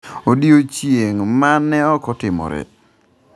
Odiechieng’ ma ne ok otimore.